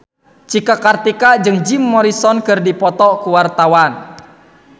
Cika Kartika jeung Jim Morrison keur dipoto ku wartawan